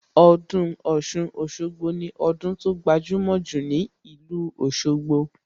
Ọdún Ọ̀ṣun-Òṣogbo ni ọdún tó gbajumo jù ní ìlú Òsogbo